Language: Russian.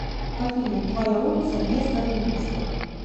афина твоя улица места жительства